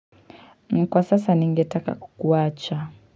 Mkwa sasa ningetaka kukuwacha.